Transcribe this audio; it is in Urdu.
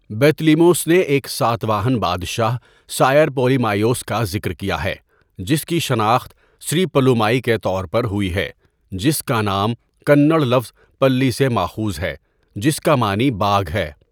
بطلیموس نے ایک ساتواہن بادشاہ سائر پولیمائیوس کا ذکر کیا ہے، جس کی شناخت سری پلومائی کے طور پر ہوئی ہے، جس کا نام کنڑ لفظ پلی سے ماخوذ ہے، جس کا معنی باگھ ہے۔